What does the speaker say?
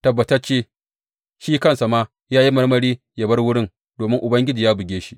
Tabbatacce, shi kansa ma ya yi marmari yă bar wurin domin Ubangiji ya buge shi.